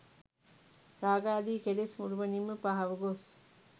රාගාදී කෙලෙස් මුළුමනින්ම පහව ගොස්